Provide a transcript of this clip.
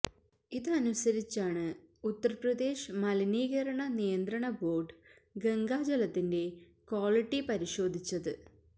ഇതനുസരിച്ചാണ് ഉത്തര് പ്രദേശ് മലിനീകരണ നിയന്ത്രണ ബോര്ഡ് ഗംഗാ ജലത്തിന്റെ ക്വാളിറ്റി പരിശോധിച്ചത്